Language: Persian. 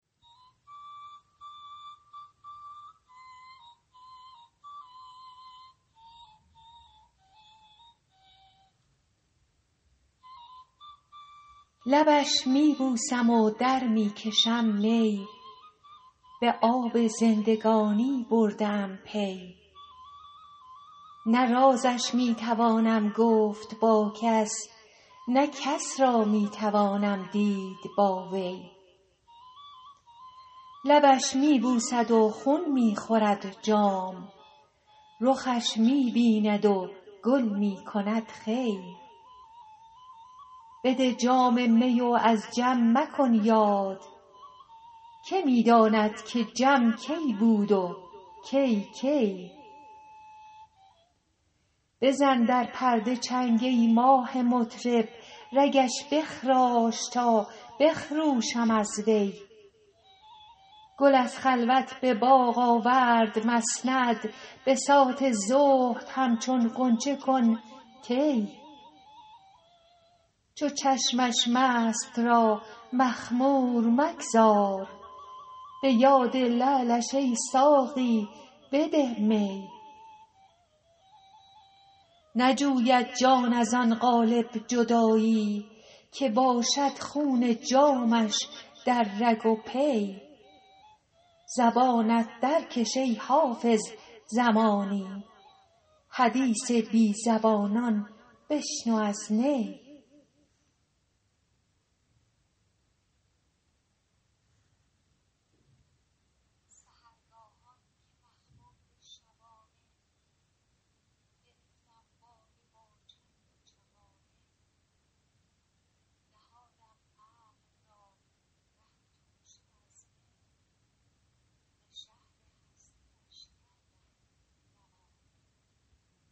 لبش می بوسم و در می کشم می به آب زندگانی برده ام پی نه رازش می توانم گفت با کس نه کس را می توانم دید با وی لبش می بوسد و خون می خورد جام رخش می بیند و گل می کند خوی بده جام می و از جم مکن یاد که می داند که جم کی بود و کی کی بزن در پرده چنگ ای ماه مطرب رگش بخراش تا بخروشم از وی گل از خلوت به باغ آورد مسند بساط زهد همچون غنچه کن طی چو چشمش مست را مخمور مگذار به یاد لعلش ای ساقی بده می نجوید جان از آن قالب جدایی که باشد خون جامش در رگ و پی زبانت درکش ای حافظ زمانی حدیث بی زبانان بشنو از نی